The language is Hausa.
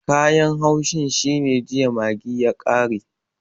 Kayan haushin shine jiya maggi ya kare